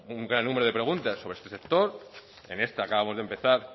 un gran número de preguntas sobre este sector en esta acabamos de empezar